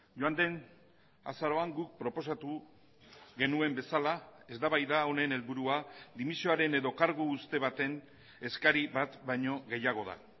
joan den azaroan guk proposatu genuen bezala eztabaida honen helburua dimisioaren edo kargu uzte baten eskari bat baino gehiago da